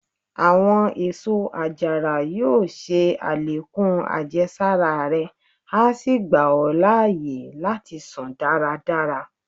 Àwọn èsó àjàrà yóò ṣe àlékún àjẹsára rẹ, a sí gba ọ láàyè láti sùn dáradára.